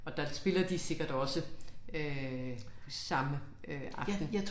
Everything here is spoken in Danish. Og der spiller de sikkert også øh samme øh aften